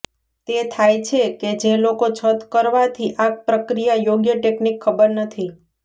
તે થાય છે કે જે લોકો છત કરવાથી આ પ્રક્રિયા યોગ્ય ટેકનિક ખબર નથી